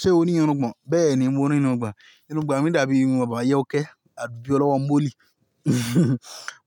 Ṣé o ní irun gbọ̀n? Bẹ́ẹ̀ni, mo ní irun agbọ̀n. Irun agbọ̀n mi dàbí irun bàbá ayọ̀kẹ́. Àbi ọlowọ́ Mólì.